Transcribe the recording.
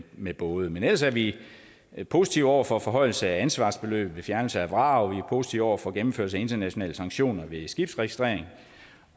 med både men ellers er vi vi positive over for forhøjelse af ansvarsbeløbet ved fjernelse af vrag vi er positive over for gennemførelse af internationale sanktioner ved skibsregistrering